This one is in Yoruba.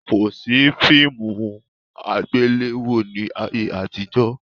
Kòsí fíìmù àgbéléwò ni ayé àtijọ́